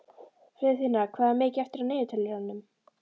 Friðfinna, hvað er mikið eftir af niðurteljaranum?